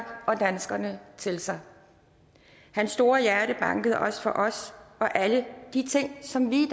og danskerne til sig hans store hjerte bankede også for os og alle de ting som vi